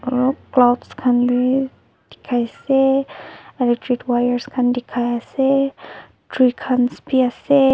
aro clouds khan b dikhai ase electric wires dikhai ase tree kans b ase.